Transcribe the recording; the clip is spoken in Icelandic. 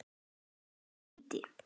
Svo ýtti